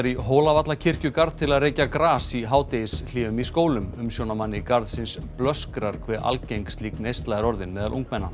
í til að reykja gras í hádegishléum í skólum umsjónarmanni garðsins blöskrar hve algeng slík neysla er orðin meðal ungmenna